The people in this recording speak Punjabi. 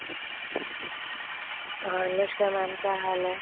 ਹਾਂ ਨਮਸ਼ਕਾਰ mam ਕਿਆ ਹਾਲ ਹੈ